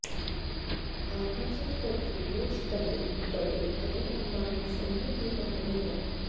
RHF कर के बोझ तले दबे अनिल अंबानी समूह की कंपनी है